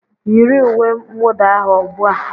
Yiri uwe mwuda ahụ ubua.